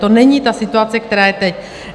To není ta situace, která je teď.